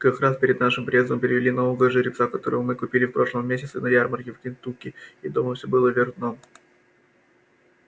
как раз перед нашим приездом привели нового жеребца которого мы купили в прошлом месяце на ярмарке в кентукки и дома всё было вверх дном